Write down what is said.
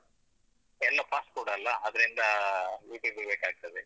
ಎಲ್ಲ fast food ಅಲ್ಲ ಅದ್ರಿಂದ ಅದ್ರಲ್ಲಿ ನೋಡ್ತೇನೆ. YouTube ಲ್ಲಿ ಬಿ~ ಬೇಕಾಗ್ತದೆ.